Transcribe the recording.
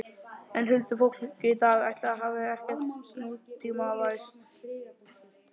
En huldufólkið í dag, ætli það hafi ekkert nútímavæðst?